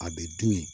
A bɛ dun